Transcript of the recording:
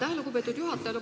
Aitäh, lugupeetud juhataja!